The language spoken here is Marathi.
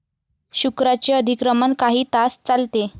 शुक्राचे अधिक्रमण काही तास चालते.